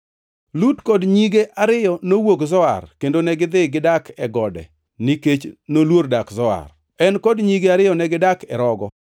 Lut kod nyige ariyo nowuok Zoar kendo negidhi gidak e gode nikech noluor dak Zoar. En kod nyige ariyo negidak e rogo.